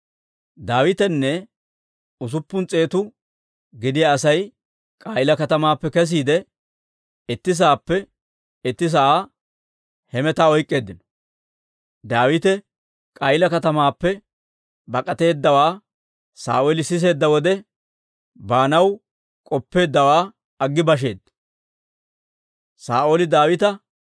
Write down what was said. Daawitenne usuppun s'eetu gidiyaa Asay K'a'iila katamaappe kesiide, itti saappe itti sa'aa hemetaa oyk'k'eeddino. Daawite K'a'iila katamaappe bak'ateeddawaa Saa'ooli siseedda wode, baanaw k'oppeeddawaa aggi basheedda.